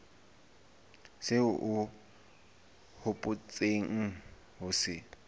seo o hopotseng ho se